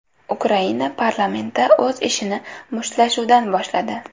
Ukraina parlamenti o‘z ishini mushtlashuvdan boshladi.